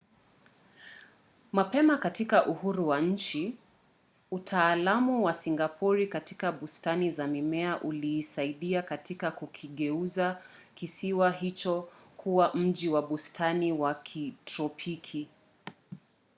mapema katika uhuru wa nchi utaalamu wa singapori katika bustani za mimea uliisaidia katika kukigeuza kisiwa hicho kuwa mji wa bustani wa kitropiki